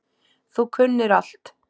Þú kunnir allt.